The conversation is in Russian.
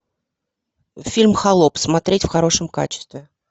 фильм холоп смотреть в хорошем качестве